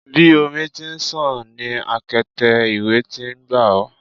Bi omi ti n ṣàn ni akete iwẹ ti n gba o